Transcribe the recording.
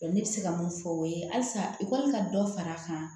Ne bɛ se ka mun fɔ o ye halisa i kɔni ka dɔ fara a kan